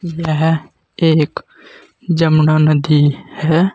यह एक एक जमुना नदी है।